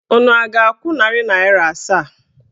Unu a ga-akwụ narị naịra asaa?